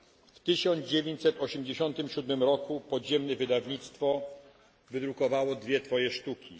W 1987 roku podziemne wydawnictwo wydrukowało dwie Twoje sztuki.